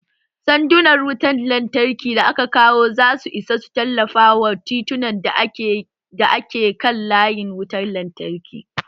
Sandunan wutar lantarki da aka kawo za su isa su tallafa wa titunan da ke kan layin wutar lantarki